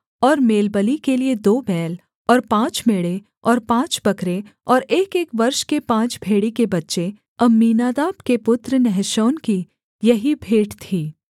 और मेलबलि के लिये दो बैल और पाँच मेढ़े और पाँच बकरे और एकएक वर्ष के पाँच भेड़ी के बच्चे अम्मीनादाब के पुत्र नहशोन की यही भेंट थी